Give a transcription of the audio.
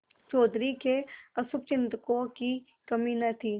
चौधरी के अशुभचिंतकों की कमी न थी